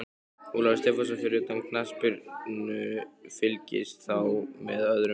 Ólafur Stefánsson Fyrir utan knattspyrnu, fylgist þú með öðrum íþróttum?